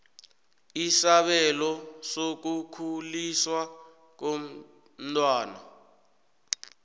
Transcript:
isabelo sokukhuliswa komntwana